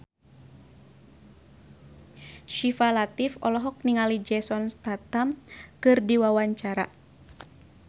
Syifa Latief olohok ningali Jason Statham keur diwawancara